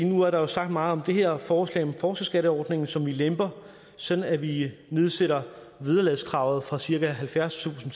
nu er sagt meget om det her forslag om forskerskatteordningen som vi lemper sådan at vi nedsætter vederlagskravet fra cirka halvfjerdstusind